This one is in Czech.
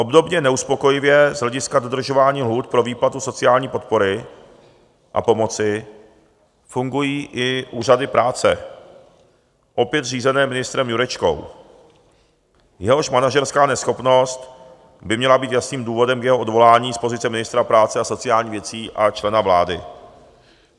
Obdobně neuspokojivě z hlediska dodržování lhůt pro výplatu sociální podpory a pomoci fungují i úřady práce opět řízené ministrem Jurečkou, jehož manažerská neschopnost by měla být jasným důvodem k jeho odvolání z pozice ministra práce a sociálních věcí a člena vlády.